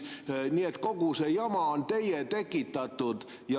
Nii et kogu see jama on teie tekitatud.